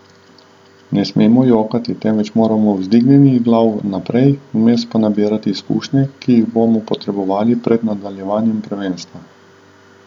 Ne smemo jokati, temveč moramo vzdignjenih glav naprej, vmes pa nabirati izkušnje, ki jih bomo potrebovali pred nadaljevanjem prvenstva.